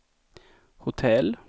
hotell